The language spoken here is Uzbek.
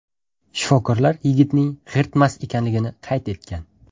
Shifokorlar yigitning g‘irt mast ekanligini qayd etgan.